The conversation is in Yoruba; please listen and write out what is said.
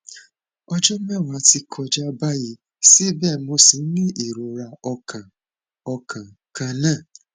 ọjọ mẹwàá ti kọjá báyìí síbẹ mo ṣì ń ní ìrora ọkàn ọkàn kan náà